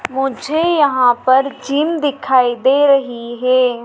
मुझे यहां पर जिम दिखाई दे रही है।